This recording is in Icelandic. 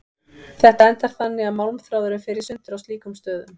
Þetta endar þannig að málmþráðurinn fer í sundur á slíkum stöðum.